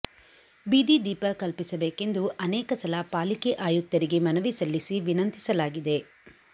ಬೀದಿದೀಪ ಕಲ್ಪಿಸಬೇಕೆಂದು ಅನೇಕ ಸಲ ಪಾಲಿಕೆ ಆಯುಕ್ತರಿಗೆ ಮನವಿ ಸಲ್ಲಿಸಿ ವಿನಂತಿಸಲಾಗಿದೆ